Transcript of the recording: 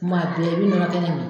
Kuma bɛɛ i bi nɔnɔ kɛnɛ mi